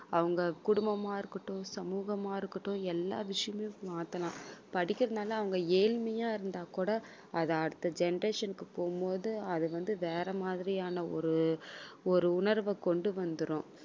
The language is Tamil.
அவங்க குடும்பமா இருக்கட்டும் சமூகமா இருக்கட்டும் எல்லா விஷயமும் மாத்தலாம். படிக்கிறதினால அவங்க ஏழ்மையா இருந்தாக் கூட அதை அடுத்த generation க்குப் போகும்போது அது வந்து வேற மாதிரியான ஒரு ஒரு உணர்வைக் கொண்டு வந்துரும்.